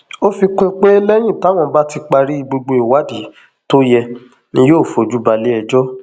ó fi kún un pé lẹyìn táwọn bá ti parí gbogbo ìwádìí tó yẹ ni yóò fojú balẹẹjọ